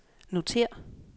notér